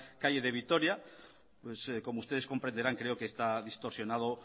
calle de vitoria pues como ustedes comprenderán creo que está distorsionado